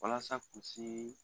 Walasa kulusi